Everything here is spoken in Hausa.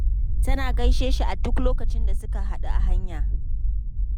Tana yawan gaishe shi a duk lokacin da suka haɗu a hanya.